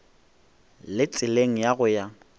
le tseleng ya go ya